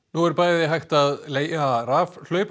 nú er bæði hægt að leigja